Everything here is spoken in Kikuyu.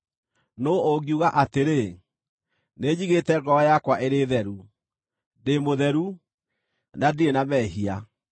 Nũũ ũngiuga atĩrĩ, “Nĩnjigĩte ngoro yakwa ĩrĩ theru; ndĩ mũtheru, na ndirĩ na mehia”?